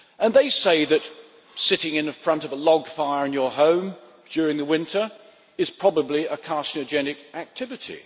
They say that sitting in front of a log fire in your home during the winter is probably a carcinogenic activity